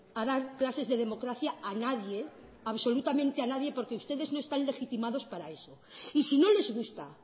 a dar clases de democracia a nadie absolutamente a nadie porque ustedes no están legitimados para eso y si no les gusta